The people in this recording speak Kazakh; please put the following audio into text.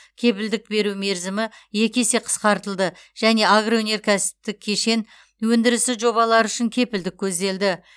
кепілдік беру мерзімі екі есе қысқартылды және агроөнеркәсіптік кешен өндірісі жобалары үшін кепілдік көзделді